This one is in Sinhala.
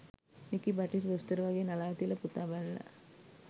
මෙකි බටහිර දොස්තර වගේ නලාව තියලා පුතා බලලා